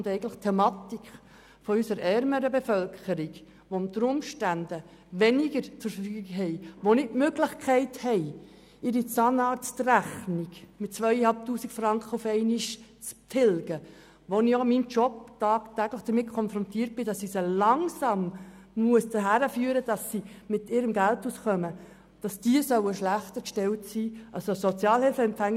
Unsere ärmere Bevölkerung, die unter Umständen weniger zur Verfügung hat, die aber keine Möglichkeit hat, ihre Zahnarztrechnung in der Höhe von 2500 Franken auf einmal zu bezahlen, ist schlechter gestellt als ein Sozialhilfebezüger.